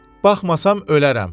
Baxmasam ölərəm.